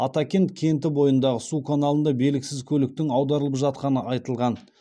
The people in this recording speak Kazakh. атакент кенті бойындағы су каналында белгісіз көліктің аударылып жатқаны айтылған